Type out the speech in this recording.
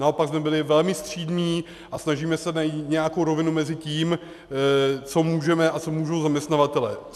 Naopak jsme byli velmi střídmí a snažíme se najít nějakou rovinu mezi tím, co můžeme, a co můžou zaměstnavatelé.